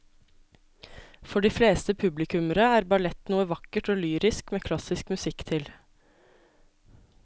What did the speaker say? For de fleste publikummere er ballett noe vakkert og lyrisk med klassisk musikk til.